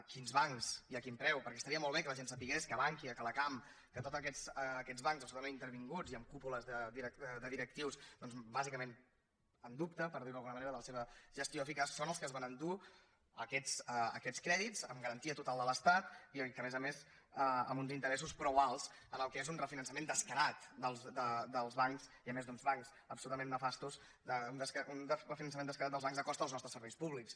quins bancs i a quin preu perquè estaria molt bé que la gent sabés que bankia que la cam que tots aquests bancs absolutament intervinguts i amb cúpules de directius doncs bàsicament en dubte per dir ho d’alguna manera de la seva gestió eficaç són els que es van endur aquests crèdits amb garantia total de l’estat i a més a més amb uns interessos prou alts en el que és un refinançament descarat dels bancs i a més d’uns bancs absolutament nefastos un refinançament descarat dels bancs a costa dels nostres serveis públics